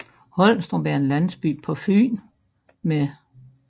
Holmstrup er en landsby på Fyn med